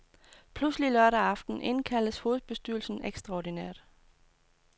Pludselig, lørdag formiddag, indkaldes hovedbestyrelsen ekstraordinært.